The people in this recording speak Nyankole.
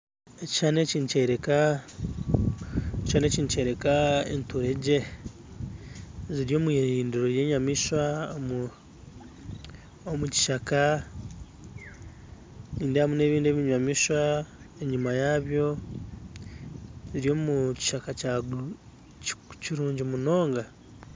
Ekishushani eki nikyoreka enturege ziri omwirindiro ry'enyamaishwa omukishaka nindebamu n'ebindi ebinyamaishwa enyuma yabyo biri omukishaka kirungi munonga.